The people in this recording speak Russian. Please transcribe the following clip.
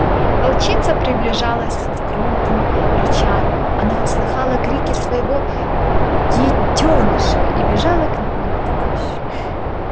волчица приближалась с громким рычанием она услыхала крики своего детёныша и бежала к нему на помощь